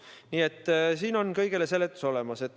Nii et siin on kõigele seletus olemas.